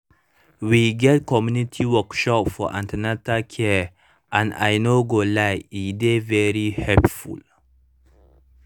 we get community workshop for an ten atal care and i no go lie e dey very helpful